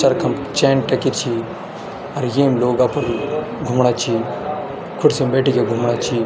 चरखा म चैन टंकी छी अर येम लोग अपुर घुमणा छी खुर्सी म बैठी के घुमणा छी।